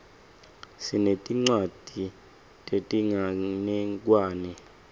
sinetincwadzi tetinganekwane